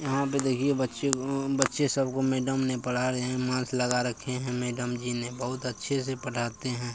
यहाँ पे देखिये बच्चे को ओ बच्चे सब को मैडम ने पढ़ा रहे है मास्क लगा रखे है मैडम जी ने बहोत अच्छे से पढ़ाते है।